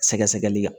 Sɛgɛsɛgɛli kan